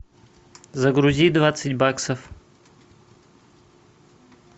загрузи двадцать баксов